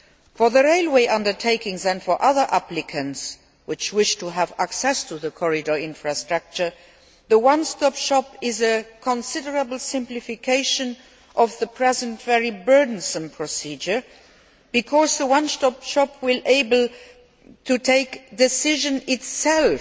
For the railway undertakings and for other applicants which wish to have access to the corridor infrastructure, the one stop shop is a considerable simplification of the present, very burdensome procedure, because the one stop shop will be able to take decisions itself